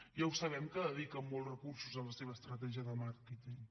ja ho sabem que dediquen molts recursos a la seva estratègia de màrqueting